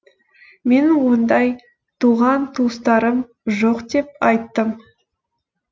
менің ондай туған туыстарым жоқ деп айттым